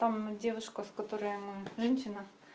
там девушка с которой мы женщина